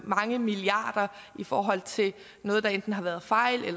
mange milliarder i forhold til noget der enten har været fejl i